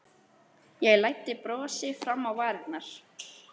Ég læddi brosi fram á varirnar.